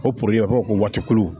O poroblɛmu b'a ko waati kulu